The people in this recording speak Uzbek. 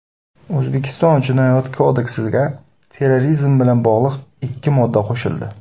O‘zbekiston Jinoyat kodeksiga terrorizm bilan bog‘liq ikki modda qo‘shildi.